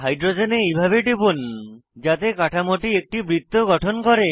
হাইড্রোজেনে এইভাবে টিপুন যাতে কাঠামোটি একটি বৃত্ত গঠন করে